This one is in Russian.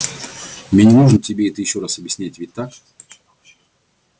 мне не нужно тебе это ещё раз объяснять ведь так